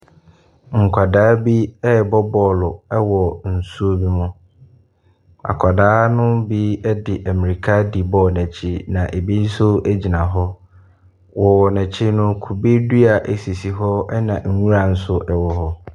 Nkwadaa bi rebɔ bɔɔlo wɔ nsuo bi mu. Akwadaa no bi de mmirika di bɔɔlo no akyi na ebi nso gyina hɔ. Wɔ n'akyi no, kube dua sisi hɔ na nwura nso wɔ hɔ.